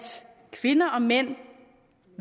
kvinder og mænd